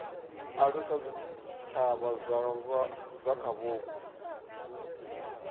alusa zwitshavha zwa kha vhupo